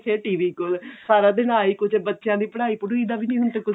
ਫਿਰ TV ਕੋਲ ਸਾਰਾ ਦਿਨ ਆਹੀ ਕੁੱਝ ਬਚਿਆਂ ਦੀ ਪੜ੍ਹਾਈ ਪੜ੍ਹਉਈ ਦਾ ਵੀ ਨੀ ਹੁਣ ਤੇ ਕੁੱਝ